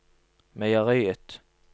meieriet